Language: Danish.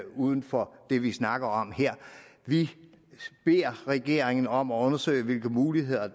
uden for det vi snakker om her vi beder regeringen om at undersøge hvilke muligheder